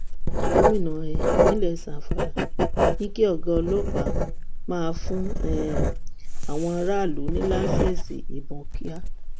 gomina um ìpínlẹ zamfara ní kí ọgá ọlọpàá máa fún um àwọn aráààlú ní lẹńsẹẹsí ìbọn kíá